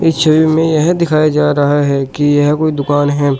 इस छवि में यह दिखाया जा रहा है कि यह कोई दुकान है।